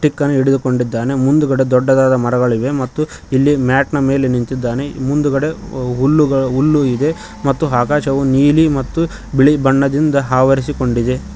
Stick ಅನ್ನು ಹಿಡಿದುಕೊಂಡಿದ್ದಾನೆ ಮುಂದ್ಗಡೆ ದೊಡ್ಡದಾದ ಮರಗಳಿಗೆ ಮತ್ತು ಇಲ್ಲಿ ಮ್ಯಾಟ್ ನ ಮೇಲೆ ನಿಂತಿದ್ದಾನೆ ಮುಂದ್ಗಡೆ ಹುಲ್ಲುಗಳು ಹುಲ್ಲು ಇದೆ ಮತ್ತು ಆಕಾಶವು ನೀಲಿ ಮತ್ತು ಬಿಳಿ ಬಣ್ಣದಿಂದ ಆವರಿಸಿಕೊಂಡಿದೆ.